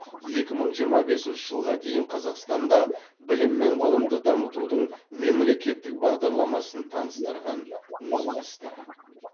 екі мың жиырма бесінші жылға дейін қазақстанда білім мен ғылымды дамытудың мемлекеттік бағдарламасын таныстырған министр